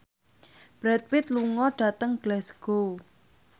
Brad Pitt lunga dhateng Glasgow